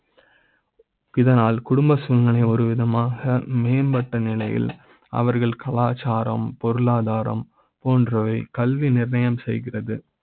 இதனால் குடும்ப சூழ்நிலை ஒரு விதமா மேம்பட்ட நிலையில் அவர்கள் கலாச்சார ம் பொருளாதார ம் போன்றவை கல்வி நிர்ணய ம் செய்கிறது.